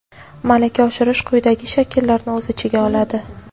Malaka oshirish quyidagi shakllarni o‘z ichiga oladi:.